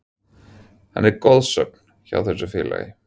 Hann er goðsögn hjá þessu félagi.